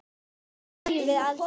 Svona spyrjum við aldrei.